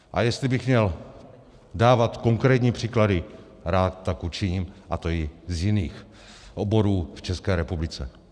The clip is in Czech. A jestli bych měl dávat konkrétní příklady, rád tak učiním, a to i z jiných oborů v České republice.